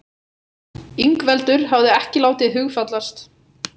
Ingveldur hafði ekki látið hugfallast.